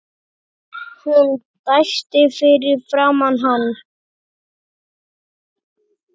Hún dæsti fyrir framan hann.